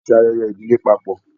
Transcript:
A ṣe ayẹyẹ idile papọ.